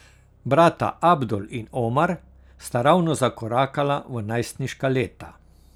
Brata Abdul in Omar sta ravno zakorakala v najstniška leta.